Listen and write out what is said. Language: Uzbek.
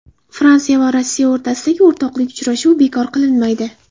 Fransiya va Rossiya o‘rtasidagi o‘rtoqlik uchrashuvi bekor qilinmaydi.